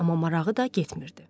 Amma marağı da getmirdi.